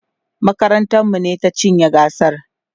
makarantar mu ne ta cinye gasar